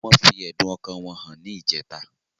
Wọn fi ẹ̀dun ọkàn wọn hàn ní ìjẹta